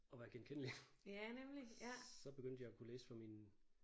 Og være genkendelig. Så begyndte jeg at kunne læse for mine